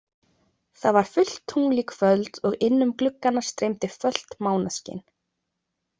Það var fullt tungl í kvöld og inn um gluggana streymdi fölt mánaskin.